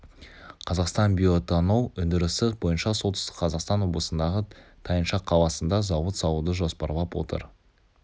қазақстан биоэтанол өндірісі бойынша солтүстік қазақстан облысындағы тайынша қаласында зауыт салуды жоспарлап отыр